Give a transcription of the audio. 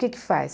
O que é que faz?